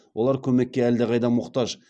олар көмекке әлдеқайда мұқтаж